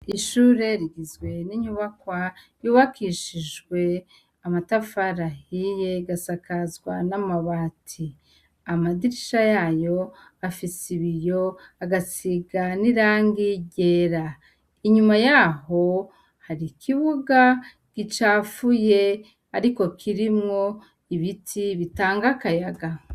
Ishure rigizwe n'inyubakwa yubakishijwe amatafari ahiye igasakazwa n'amabati. Amadirisha yayo afise ibiyo agasiga n'irangi ryera. Inyuma yaho hari ikibuga gicafuye ariko kirimwo ibiti bitanga akayaga.